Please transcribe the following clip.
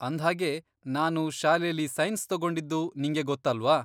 ಅಂದ್ಹಾಗೆ ನಾನು ಶಾಲೆಲಿ ಸೈನ್ಸ್ ತಗೊಂಡಿದ್ದು ನಿಂಗೆ ಗೊತ್ತಲ್ವಾ?